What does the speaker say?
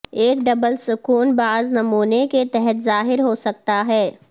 ایک ڈبل سکوں بعض نمونے کے تحت ظاہر ہو سکتا ہے